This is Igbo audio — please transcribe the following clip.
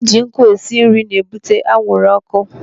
Ị ji nkụ esi nri na-ebute anwụrụ ọkụ.